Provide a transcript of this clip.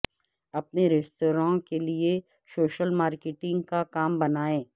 اپنے ریستوراں کے لئے سوشل مارکیٹنگ کا کام بنائیں